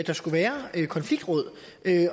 der skulle være et konfliktråd